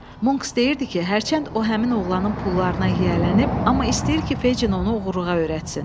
Monks deyirdi ki, hərçənd o həmin oğlanın pullarına yiyələnib, amma istəyir ki, Feycin onu oğruluğa öyrətsin.